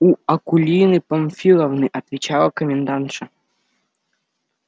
у акулины памфиловны отвечала комендантша